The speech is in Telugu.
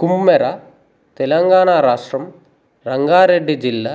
కుమ్మెర తెలంగాణ రాష్ట్రం రంగారెడ్డి జిల్లా